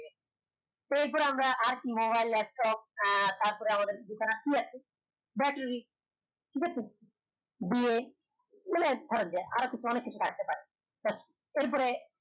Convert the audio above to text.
এর পরে আমরা আরকি mobile laptop আহ তার পর আমাদের কি আছে, battery ঠিক আছে bar মানে ধরা যায় অনেক কিছু থাকতে পারে এর পরে